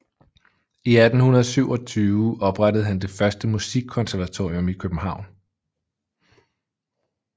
I 1827 oprettede han det første musikkonservatorium i København